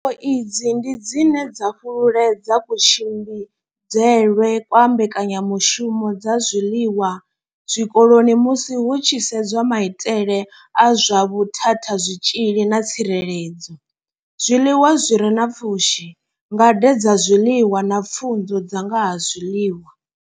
Pfufho idzi ndi dzine dza fhululedza kutshimbidzelwe kwa mbekanyamushumo dza zwiḽiwa zwikoloni musi hu tshi sedzwa maitele a zwa vhuthathazwitzhili na tsireledzo, zwiḽiwa zwi re na pfushi, ngade dza zwiḽiwa na pfunzo dza nga ha zwiḽiwa.